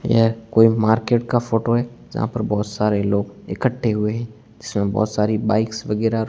यह कोई मार्केट का फोटो है जहां पर बहोत सारे लोग इकट्ठे हुए हैं जीसमें बहोत सारी बाइक्स वगैरा--